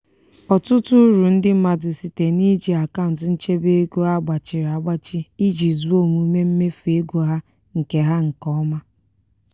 ọtụtụ uru ndị mmadụ site n'iji akaụntụ nchebe ego a gbachịrị agbachị iji zụọ omume mmefu ego ha nke ha nke ọma.